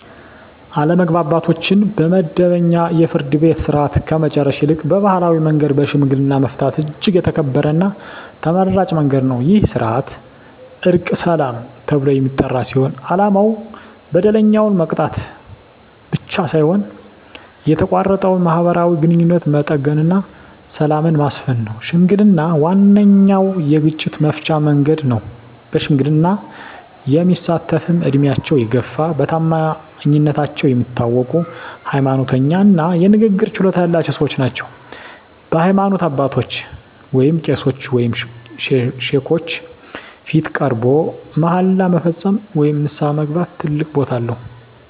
አለመግባባቶችን በመደበኛው የፍርድ ቤት ሥርዓት ከመጨረስ ይልቅ በባሕላዊ መንገድ በሽምግልና መፍታት እጅግ የተከበረና ተመራጭ መንገድ ነው። ይህ ሥርዓት "ዕርቀ ሰላም" ተብሎ የሚጠራ ሲሆን፣ ዓላማው በደለኛውን መቅጣት ብቻ ሳይሆን የተቋረጠውን ማኅበራዊ ግንኙነት መጠገንና ሰላምን ማስፈን ነው። ሽምግልና ዋነኛው የግጭት መፍቻ መንገድ ነው። በሽምግልና የሚሳተፍትም ዕድሜያቸው የገፋ፣ በታማኝነታቸው የሚታወቁ፣ ሃይማኖተኛ እና የንግግር ችሎታ ያላቸው ሰዎች ናቸው። በሃይማኖት አባቶች (ቄሶች ወይም ሼኮች) ፊት ቀርቦ መሃላ መፈጸም ወይም ንስሐ መግባት ትልቅ ቦታ አለው።